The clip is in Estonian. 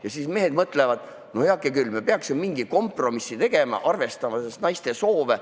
" Ja siis mehed mõtlevad: "No heakene küll, peaks mingi kompromissi tegema, arvestama ka naiste soove.